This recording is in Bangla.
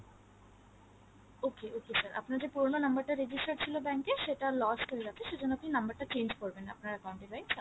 okay okay sir আপনার পুরোনো যে number টা register ছিল bank এ সেটা lost হয়ে গেছে সেই জন্য আপনি number টা change করবেন আপনার account এ right sir